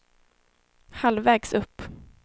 halvvägs upp